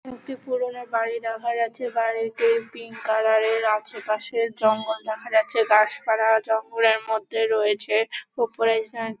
একটি পুরনো বাড়ি দেখা যাচ্ছে। বাড়িটি পিঙ্ক কালার -এর। আশেপাশে জঙ্গল দেখা যাচ্ছে। গাছপালা জঙ্গলের মধ্যে রয়েছে খুব --